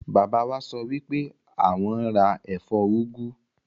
Bàbá wa sọ wipe awọn n ra ẹfọ úgú.